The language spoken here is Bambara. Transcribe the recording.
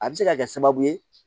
A bɛ se ka kɛ sababu ye